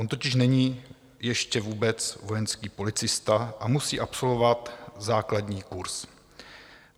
On totiž není ještě vůbec vojenský policista a musí absolvovat základní kurz.